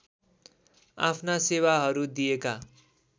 आफ्ना सेवाहरू दिएका